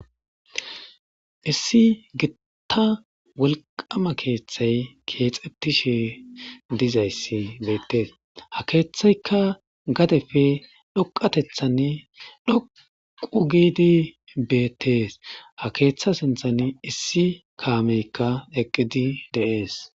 Issi gitta wolqama keeththay keexetishe dizayssi beettees ha keeththaykka gadefe dhoqatethan dhoqu giidi beettees ha keeththa sinthan issi kaameykka eqqidi deees